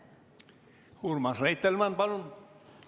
Urmas Reitelmann, palun!